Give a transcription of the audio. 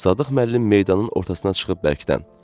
Sadıq müəllim meydanın ortasına çıxıb bərkdən.